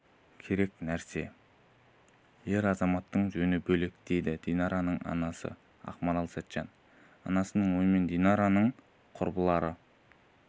керек нәрсе ер азаматтың жөні бөлек дейді динараның анасы ақмарал сәтжан анасының ойымен динараның құрбылары